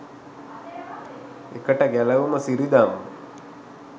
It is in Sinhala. එකට ගැලවුම සිරිදම්ම